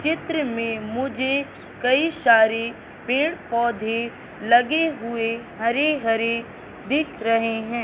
चित्र में मुझे कई सारे पेड़ पौधे लगे हुए हरे हरे दिख रहे हैं।